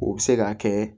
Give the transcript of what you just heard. O bɛ se k'a kɛ